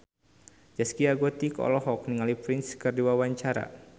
Zaskia Gotik olohok ningali Prince keur diwawancara